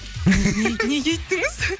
неге үйттіңіз